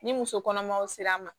Ni muso kɔnɔmaw sera a ma